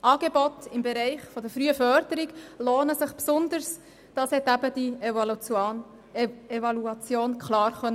Die Evaluation hat klar aufgezeigt, dass sich Angebote im Bereich der frühen Förderung besonders lohnen.